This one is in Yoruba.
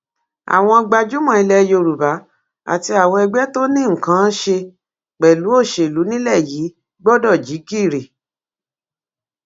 àwọn gbajúmọ ilẹ yorùbá àti àwọn ẹgbẹ tó ní nǹkan án ṣe pẹlú òṣèlú nílẹ yìí gbọdọ jí gìrì